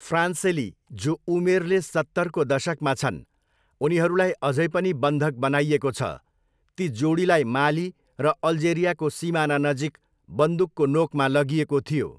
फ्रान्सेली, जो उमेरले सत्तरको दशकमा छन्, उनीहरूलाई अझै पनि बन्धक बनाइएको छ, ती जोडीलाई माली र अल्जेरियाको सिमानानजिक बन्दुकको नोकमा लगिएको थियो।